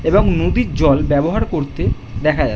এবং নদীর জল ব্যবহার করতে দেখা যায় ।